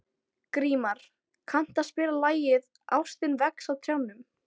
Grímar, kanntu að spila lagið „Ástin vex á trjánum“?